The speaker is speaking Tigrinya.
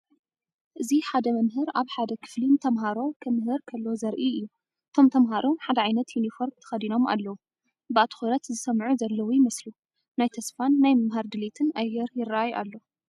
እዚ ሓደ መምህር ኣብ ሓደ ክፍሊ ንተማሃሮ ክምህር ከሎ ዘርኢ እዩ። እቶም ተምሃሮ ሓደ ዓይነት ዮኒፎርም ተከዲኖም ኣለው። ብኣትኩረት ዝሰምዑ ዘለው ይመስሉ። ናይ ተስፋን ናይ ምምሃር ድሌትን ኣየር ይራኣይ ኣሎ።